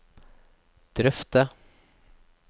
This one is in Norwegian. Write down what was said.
drøfte